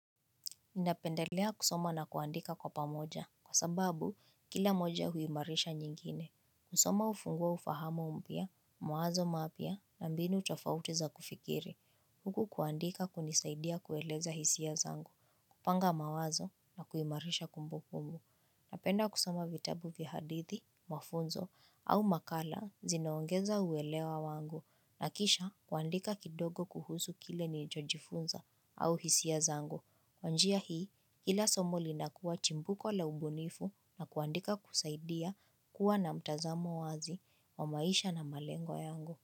Ninapendelea kusoma na kuandika kwa pamoja, kwa sababu kila moja huimarisha nyingine. Kusoma hufungua ufahama mpya, mawazo mapya, na mbinu tofauti za kufikiri. Huku kuandika kunisaidia kueleza hisia zangu, kupanga mawazo na kuimarisha kumbukumbu. Napenda kusoma vitabu vya hadithi, mafunzo, au makala zinaongeza uwelewa wangu. Na kisha kuandika kidogo kuhusu kile nilichojifunza au hisia zangu. Kwa njia hii, kila somo linakuwa chimbuko la ubunifu na kuandika kusaidia, kuwa na mtazamo wazi wa maisha na malengo yangu.